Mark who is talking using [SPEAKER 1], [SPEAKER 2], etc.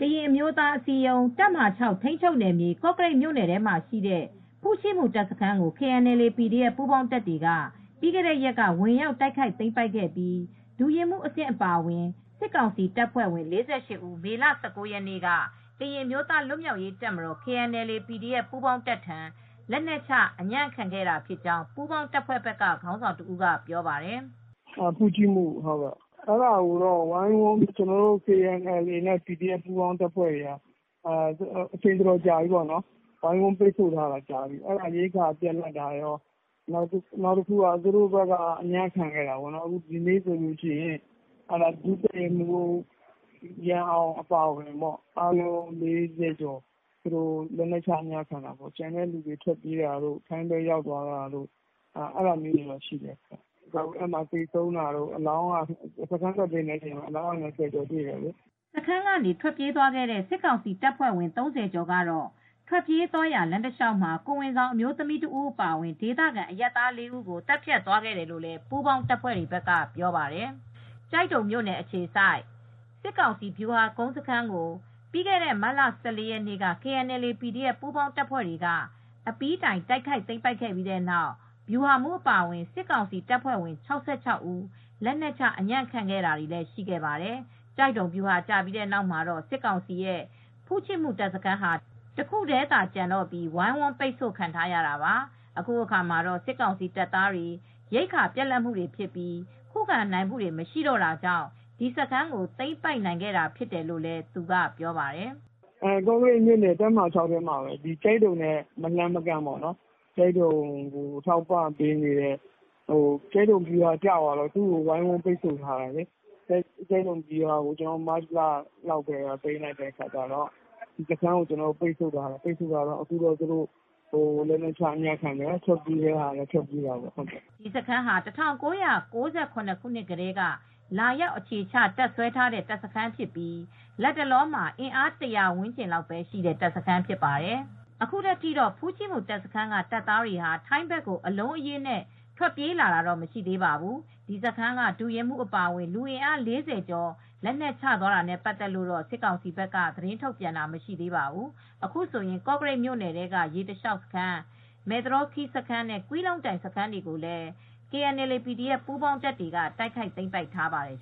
[SPEAKER 1] ကရင်အမျိုးသားအစည်းအရုံး၊ တပ်မဟာ ထိမ်းချုပ်နယ်မြေ၊ ကော့ကရိတ်မြို့နယ်မှာရှိတဲ့ ဖူ့ချိမူ တပ်စခန်းကို KNLA ၊ PDF ပူးပေါင်းတပ်တွေက ပြီးခဲ့တဲ့ ရက်က ဝင်ရောက်သိမ်းပိုက်ခဲ့ပြီး ဒုရင်းမှူးအဆင့်အပါအဝင် စစ်ကောင်စီတပ်ဖွဲ့ဝင် ၄၈ ဦး မေလ ၁၉ ရက်နေ့က ကရင် အမျိုးသားလွတ်မြောက်ရေးတပ်မတော်-KNLA ၊ PDF ပူးပေါင်းတပ်ထံ လက်နက်ချအညံ့ခံခဲ့တာဖြစ်ကြောင်းပူးပေါင်းတပ်ဖွဲ့ဘက်က ခေါင်းဆောင်တဦးကပြောပါတယ်။ "
[SPEAKER 2] ဖူ့ချီမူစခန်းပေါ့ ကျနော်တို့ KNLA/PDF တပ်တွေက အချိန်အတော်ကြာ၀ိုင်းဝန်းပိတ်ဆို့ထားတာဖြစ်တယ်၊သူတို့ဘက်က ရိက္ခာပြတ်တာကော သူတို့ဘက်ကအညံ့ခံခဲ့တာပါ ဒုတပ်ရင်းမူး ရန်အောင်အပါအဝင်လူအားလုံး၄၀ကျော်က ကျနော်တို့ဆီကို လက်နက်ချအညံ့ခံခဲ့တာပေါ့နော်။ကျန်တဲ့သူတွေထွက်ပြေးတာ ထိုင်းဘက်ရောက်သွားတာလည်းရှိတယ်။ ကျနော်တို့စခန်းတက်သိမ်းတဲ့အခါမှာအလောင်းက ၂၀ကျော်ရတယ်
[SPEAKER 1] " စခန်းကနေထွက်ပြေးခဲတဲ့စစ်ကောင်စီတပ်ဖွဲ့ဝင် ၃၀ ကျော်ကတော့ ထွက်ပြေးသွားရာ လမ်းတစ်လျှောက်မှာ ကိုယ်ဝန်ဆောင် အမျိုးသမီးအပါအဝင် ဒေသခံ အရပ်သား ၄ ဦးကို သတ်ဖြတ်သွားတယ်လို့လည်း ပူးပေါင်းတပ်ဖွဲ့တွေက ပြောပါတယ်။ ကျိုက်ဒုံမြို့ အခြေစိုက် စစ်ကောင်စီဗျူဟာကုန်းစခန်းကို ပြီးခဲ့တဲ့ မတ်လ ၁၄ ရက်နေ့က KNLA /PDF ပူးပေါင်းတပ်ဖွဲ့က အပြီးတိုက်ခိုက်သိမ်းပိုက်နိုင်ခဲ့ပြီး ဗျူဟာမှူးအပါအဝင် စစ်ကောင်စီ တပ်ဖွဲ့ဝင် ဦးလက်နက်ချ အညံ့ခံခဲ့တာလည်းရှိခဲ့ပါတယ်။ ကျိုက်ဒုံဗျူဟာကျပြီးတဲ့နောက်မှာတော့စစ်ကောင်စီရဲ့ ဖူ့ချိမူ တပ်စခန်းဟာတခုတည်းသာကျန်တော့ပြီး ဝိုင်းဝန်းပိတ်ဆိုခံထားရတာပါ ၊ အခုအခါမှာတော့ စစ်ကောင်စီတပ်သားတွေ ရိက္ခာပြတ်လတ်မှုတွေဖြစ်ပြီး ခုခံနိုင်မှု မရှိတော့တာကြောင့် ဒီစခန်းကိုသိမ်းပိုက်နိုင်ခဲ့တာဖြစ်တယ်လို့ သူကပြောပါတယ်
[SPEAKER 2] ။ "ကော့ကရိတ်မြို့နယ်တပ်မဟာ ၆ ထဲမှာပဲ ကျိုက်ဒုံနဲ့မလှမ်းမကမ်းမှာပဲ ကျိုက်ဒုံဗျူဟာကျသွားတော့ ဒီစခန်းကို ကျနော်တို့က ဝိုင်းဝန်းပိတ်ဆို့ထားတယ် ။ ကျိုက်ဒုံဗျူဟာကို ကျနော်တို့ကမတ်လကတည်းကသိမ်းလိုက်တော့သူတို့က လက်နက်ချအညံ့ခံလာတယ် ထွက်ပြေးတာတွေလည်းရှိတာပေါ့
[SPEAKER 1] " ဒီစခန်းဟာ ၁၉၉၇ ခုနှစ်ကတည်းက လာရောက်အခြေချတပ်စွဲထားတဲ့တပ်စခန်းတစ်ခုဖြစ်ပြီးလတ်တလောမှာ အင်အား ၁၀၀ဝန်းကျင်လောက်ပဲရှိတဲ့စခန်းဖြစ်ပါတယ်။ အခုထက်ထိတော့ဖူ့ချိမူ တပ်စခန်းက တပ်သားတွေဟာထိုင်းဘက်ကို အလုံးအရင်းနဲ့ ထွက်ပြေးလာတာမရှိသေးပါဘူး။ ဒီစခန်းက ဒုရင်းမူးအပါအဝင် လူအင်အား ၄၀ကျော်လက်နက်ချသွားတာနဲ့ပတ်သက်လို့တော့ စစ်ကောင်စီဘက်က သတင်းထုတ်ပြန်တာမရှိသေးပါဘူး။ အခုဆိုရင် ကော့ကရိတ်မြို့နယ်ထဲက ရေတလျောက်စခန်း၊ မယ်သရောခီးစခန်းနှင့် ကွီးလုံတိုင် စခန်းတွေကိုလည်း KNLA/PDF ပူးပေါင်းတပ်တွေက တိုက်ခိုက်သိမ်းပိုက်ထားပါတယ်